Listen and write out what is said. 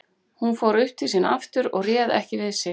Hún fór upp til sín aftur og réð ekki við sig.